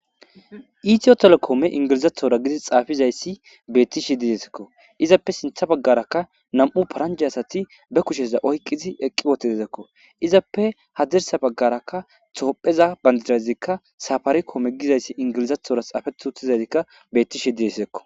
Itiyo telekoome ingilizathora gidi xaafizayssi beettishi didesekko izappe sintha baggarakka nam7u paranje asati be kusheza oykqizi eqqi wotedzekko izappe hadirsa baggarakka toopheza bandidazikka safari koome gizayssi ingilizathora xaafetuuthizazikka bettishi diesekko